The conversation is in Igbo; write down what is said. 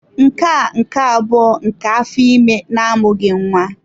Nke a nke abụọ nke afọ ime na-amụghị nwa.